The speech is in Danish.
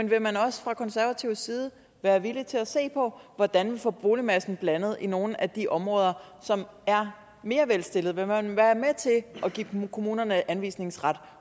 man også fra konservativ side vil være villig til at se på hvordan vi får boligmassen blandet i nogle af de områder som er mere velstillede vil man være med til at give kommunerne anvisningsret